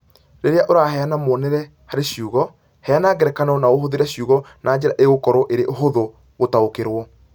rĩrĩa ũraheana muonere harĩ ciugo, heana ngerekano na ũhũthĩre ciugo na njĩra ĩgũkorũo ĩrĩ hũthũ gũtaũkĩrũo